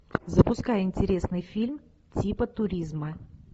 запускай интересный фильм типа туризма